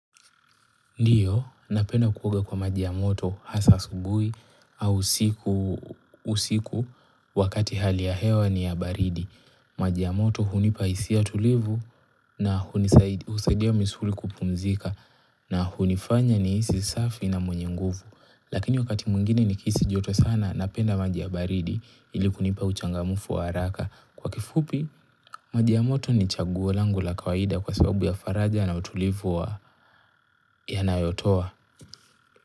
Ndiyo, napenda kuoga kwa maji ya moto. Hasa asubuhi au usiku, wakati hali ya hewa ni ya baridi. Maji ya moto hunipaisia tulivu na husadia misuli. Kupumzika na hunifanya ni hisi safi na mwenye nguvu. Lakini wakati mwingine nikihisi joto sana, napenda maji, baridi ili kunipa uchangamufu wa haraka. Kwa kifupi, maji ya moto ni chaguo langu la kawaida kwa sababu ya faraja na utulivu wa yanayotoa.